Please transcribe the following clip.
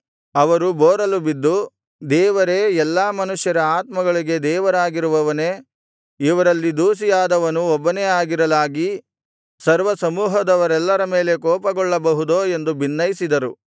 ಅವರು ಬೋರಲುಬಿದ್ದು ದೇವರೇ ಎಲ್ಲಾ ಮನುಷ್ಯರ ಆತ್ಮಗಳಿಗೆ ದೇವರಾಗಿರುವವನೇ ಇವರಲ್ಲಿ ದೋಷಿಯಾದವನು ಒಬ್ಬನೇ ಆಗಿರಲಾಗಿ ಸರ್ವಸಮೂಹದವರೆಲ್ಲರ ಮೇಲೆ ಕೋಪಗೊಳ್ಳಬಹುದೋ ಎಂದು ಬಿನ್ನೈಸಿದನು